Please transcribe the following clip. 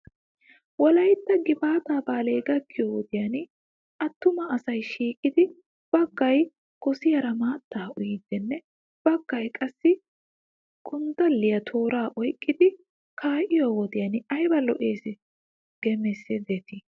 Wolaytta gifaataa baalay gakkiyoo wodiyan attuma asay shiiqettidi bagay gosiyaara maattaa uyiiddinne baggay qassi gonddaliyaanne tooraa oyqqidi kaa'iyoo wodiyan ayba lo'es geesmdetii?